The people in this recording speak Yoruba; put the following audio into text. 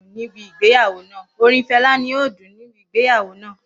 Orin Fẹla ni yoo dun nibi igbeyawo naa.